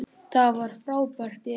Það var frábært í Eyjum.